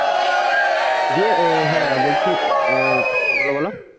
দিয়ে আহ হ্যাঁ বলছি আহ বলো বলো